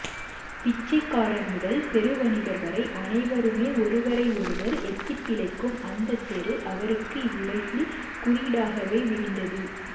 பிச்சைக்காரர் முதல் பெருவணிகர் வரை அனைவருமே ஒருவரை ஒருவர் எத்திப்பிழைக்கும் அந்தத்தெரு அவருக்கு இவ்வுலகின் குறியீடாகவே விரிந்தது